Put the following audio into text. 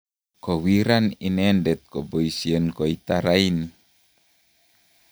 kowiran inendet koboisien koita raini